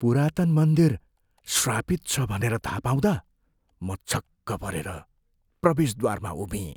पुरातन मन्दिरको श्रापित छ भनेर थाह पाउँदा म छक्क परेर प्रवेशद्वारमा उभिएँ।